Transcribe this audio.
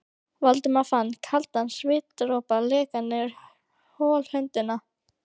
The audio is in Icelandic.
Valdimar fann kaldan svitadropa leka niður holhöndina.